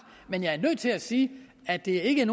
men jeg er nødt til at sige at det ikke